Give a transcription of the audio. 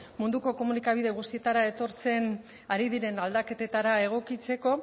munduko komunikabide guztietara etortzen ari diren aldaketetara egokitzeko